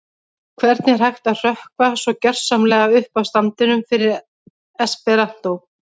Hvernig er hægt að hrökkva svo gersamlega upp af standinum fyrir esperantó?